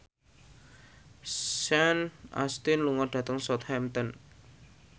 Sean Astin lunga dhateng Southampton